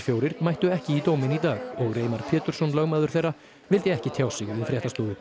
fjórir mættu ekki í dóminn í dag og Reimar Pétursson lögmaður þeirra vildi ekki tjá sig við fréttastofu